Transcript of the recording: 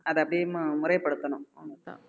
அதை அப்படியே முறைப்படுத்தணும் அவ்ளோதான்